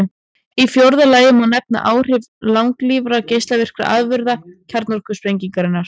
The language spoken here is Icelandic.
Í fjórða lagi má nefna áhrif langlífra geislavirkra afurða kjarnorkusprengingarinnar.